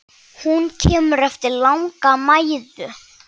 Hún kemur eftir langa mæðu.